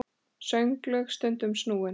Sönglög stundum snúin.